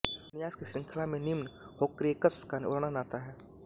उपन्यास की श्रंखला में निम्न होर्क्रेक्स का वर्णन आता है